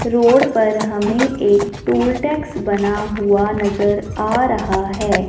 Road पर हमें एक टोल टैक्स बना हुआ नजर आ रहा है।